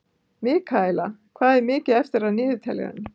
Mikaela, hvað er mikið eftir af niðurteljaranum?